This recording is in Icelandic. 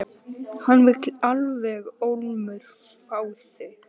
Hann vill alveg ólmur fá þig.